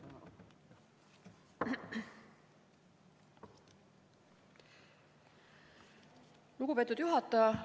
Lugupeetud juhataja!